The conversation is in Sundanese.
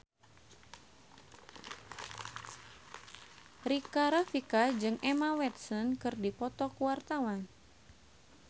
Rika Rafika jeung Emma Watson keur dipoto ku wartawan